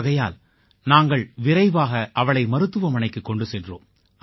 ஆகையால் நாங்கள் விரைவாக அவளை மருத்துவமனைக்குக் கொண்டு சென்றோம்